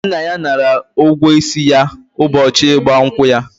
Nna ya nara ụgwọ isi ya ụbọchị ịgba nkwụ ya.